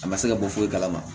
A ma se ka bɔ foyi kalama